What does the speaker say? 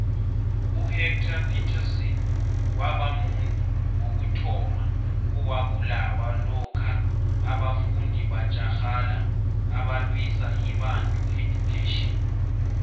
uhector petrson wabamuntu wokuthoma owabulawa lokha abafundi batjagala abalwisa ibantu education